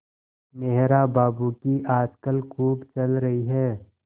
मेहरा बाबू की आजकल खूब चल रही है